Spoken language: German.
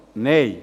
Nein